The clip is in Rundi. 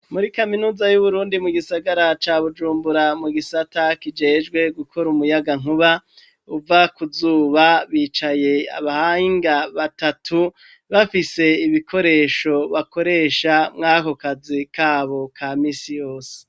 Muri kaminuza y'Uburundi mu gisagara ca Bujumbura mu gisata kijejwe gukora umuyagankuba uva ku zuba bicaye abahanga batatu bafise ibikoresho bakoresha mw'ako kazi kabo ka misi yose.